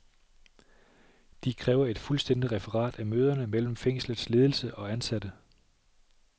De kræver et fuldstændigt referat af møderne mellem fængslets ledelse og ansatte.